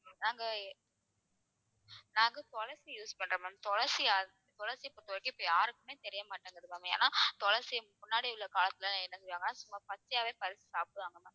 நாங்க நாங்க துளசி use பண்றோம் ma'am துளசி துளசியை பொறுத்தவரைக்கும் இப்ப யாருக்குமே தெரிய மாட்டேங்குது ma'am ஏன்னா துளசி முன்னாடி உள்ள காலத்துல என்ன செய்வாங்க சும்மா பச்சையாவே பறிச்சு சாப்பிடுவாங்க